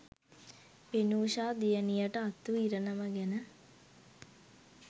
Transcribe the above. වෙනුෂා දියණියට අත්වූ ඉරණම ගැන